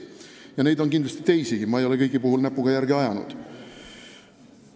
Neid inimesi on kindlasti teisigi, ma ei ole kõigi puhul näpuga järge ajanud.